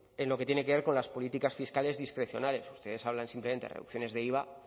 en lo que tiene que ver con las políticas fiscales discrecionales ustedes hablan simplemente de reducciones de iva